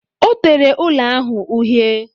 Ọ tere ụlọ ahụ uhie